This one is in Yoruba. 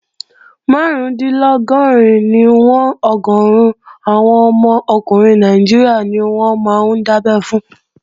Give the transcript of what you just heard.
Márùndínlọ́gọ́rin níwọ̀n ọgọ́run àwọn ọmọ ọkùnrin Nàìjíríà ni wọ́n máa ń dábẹ́ fún